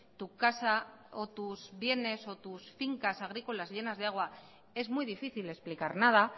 tu casa o tus bienes o tus fincas agrícolas llenas de agua es muy difícil explicar nada